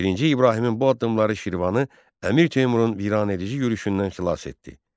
Birinci İbrahimin bu addımları Şirvanı Əmir Teymurun viranedici yürüşündən xilas etdi.